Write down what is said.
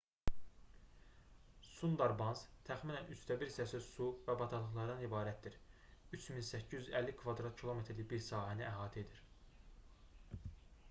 sundarbans təxminən 1/3 hissəsi su və bataqlıqlardan ibarətdir 3850 km²-lik bir sahəni əhatə edir